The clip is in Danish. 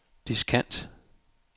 diskant